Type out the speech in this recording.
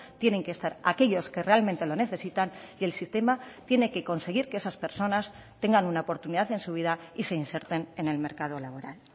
tienen que estar aquellos que realmente lo necesitan y el sistema tiene que conseguir que esas personas tengan una oportunidad en su vida y se inserten en el mercado laboral